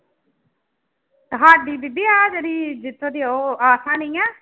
ਸਾਡੀ ਬੀਬੀ ਆਹ ਜਿਹੜੀ ਜਿਥੋਂ ਦੀ ਉਹ ਆਹ ਨੀ ਹੈ,